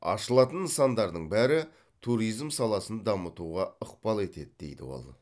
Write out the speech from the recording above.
ашылатын нысандардың бәрі туризм саласын дамытуға ықпал етеді дейді ол